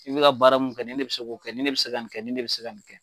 N bɛ ka baara mun kɛ, nin de bɛ se k'o kɛ, ni de bɛ se k'a kɛ , ni de bɛ se ka nin kɛ